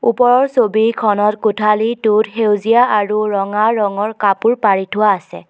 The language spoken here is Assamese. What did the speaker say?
ওপৰৰ ছবিখনৰ কোঠালীটোত সেউজীয়া আৰু ৰঙা ৰঙৰ কাপোৰ পাৰি থোৱা আছে।